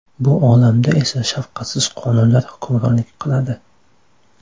Bu olamda esa shafqatsiz qonunlar hukmronlik qiladi.